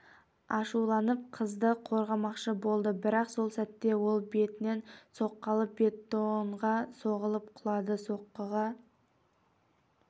ашуланып қызды қорғамақшы болды бірақ сол сәтте ол бетінен соққы алып бетонға соғылып құлады соққыға